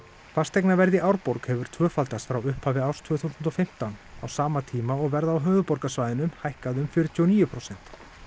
fasteignaverð í Árborg hefur tvöfaldast frá upphafi árs tvö þúsund og fimmtán á sama tíma og verð á höfuðborgarsvæðinu hækkaði um fjörutíu og níu prósent